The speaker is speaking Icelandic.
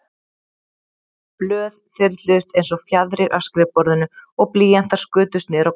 Blöð þyrluðust einsog fjaðrir af skrifborðinu og blýantar skutust niður á gólf.